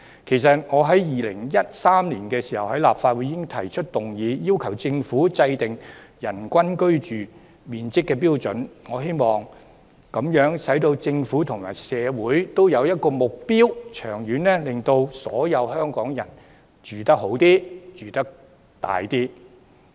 其實，我在2013年已在立法會提出議案，要求政府制訂人均居住面積標準，藉此為政府和社會訂下目標，長遠而言改善所有香港人的居住環境。